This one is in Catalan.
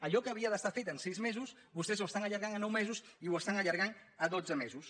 allò que havia d’estar fet en sis mesos vostès ho estan allargant a nou mesos i ho estan allar·gant a dotze mesos